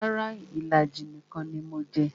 Rara, ìlàjì nìkan ni mo jẹ